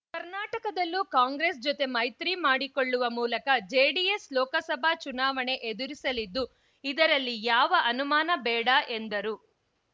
ಕರ್ನಾಟಕದಲ್ಲೂ ಕಾಂಗ್ರೆಸ್‌ ಜೊತೆ ಮೈತ್ರಿ ಮಾಡಿಕೊಳ್ಳುವ ಮೂಲಕ ಜೆಡಿಎಸ್‌ ಲೋಕಸಭಾ ಚುನಾವಣೆ ಎದುರಿಸಲಿದ್ದು ಇದರಲ್ಲಿ ಯಾವ ಅನುಮಾನ ಬೇಡ ಎಂದರು